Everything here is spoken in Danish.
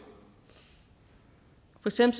vi ser